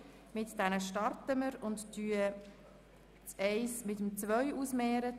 Zuerst stellen wir den Abänderungsantrag 1 dem Abänderungsantrag 2 gegenüber.